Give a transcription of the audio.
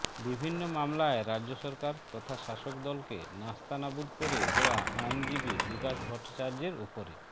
বিভিন্ন মামলায় রাজ্য সরকার তথা শাসক দলকে নাস্তানাবুদ করে দেওয়া আইনজীবী বিকাশ ভট্টাচার্যের উপরে